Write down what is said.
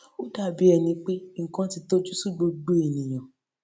ó dàbí ẹni pé nnkan ti tojú sú gbogbo ènìyàn